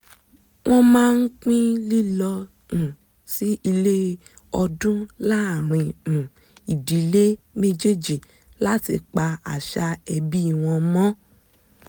wọ́n máa ń pín lílọ um sí ilé ọdún láàárín um ìdílé méjèéjì láti pa àṣà ẹbí wọn mọ́